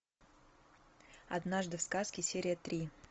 однажды в сказке серия три